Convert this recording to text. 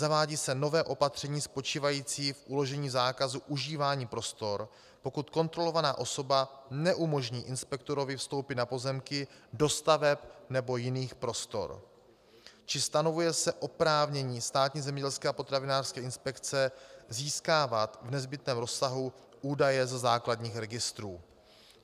Zavádí se nové opatření spočívající v uložení zákazu užívání prostor, pokud kontrolovaná osoba neumožní inspektorovi vstoupit na pozemky, do staveb nebo jiných prostor, či stanovuje se oprávnění Státní zemědělské a potravinářské inspekce získávat v nezbytném rozsahu údaje ze základních registrů.